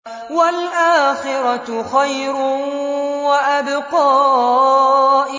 وَالْآخِرَةُ خَيْرٌ وَأَبْقَىٰ